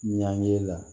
Ɲange la